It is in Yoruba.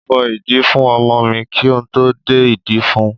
Mo fọ ìdí fún ọmọ mi kí n tó dé ìdí fún un.